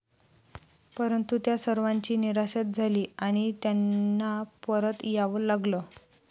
परंतु त्या सर्वांची निराशाच झाली आणि त्यांना परत यावं लागलं.